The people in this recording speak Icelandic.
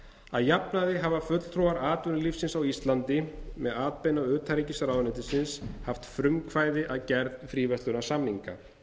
að jafnaði hafa fulltrúar atvinnulífsins á íslandi með atbeina utanríkisráðuneytisins haft frumkvæði að gerð fríverslunarsamninga